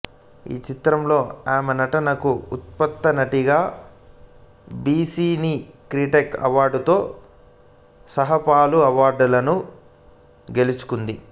ఈ చిత్రంలో ఆమె నటనకు ఉత్తమ నటిగా జీ సినీ క్రిటిక్స్ అవార్డుతో సహా పలు అవార్డులను గెలుచుకుంది